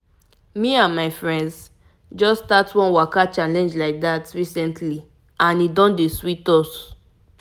to tell you the truth the truth making time for walking e don make me feel better for body and mind.